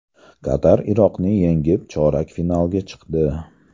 Qatar Iroqni yengib, chorak finalga chiqdi .